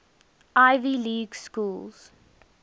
ivy league schools